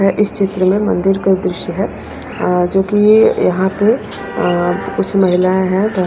इस क्षेत्र में मंदिर का दृश्य है जो कि यहां पे कुछ महिलाएं हैं।